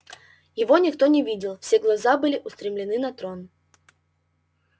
его никто не видел все глаза были устремлены на трон